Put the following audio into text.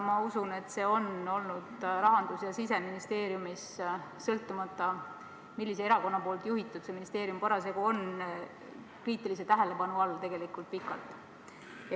Ma usun, et see on olnud Rahandusministeeriumis ja Siseministeeriumis – sõltumata sellest, milline erakond seda ministeeriumi parasjagu on juhtinud – kriitilise tähelepanu all tegelikult pikalt.